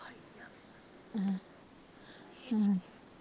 ਹਮ